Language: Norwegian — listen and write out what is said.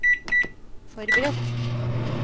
forberedt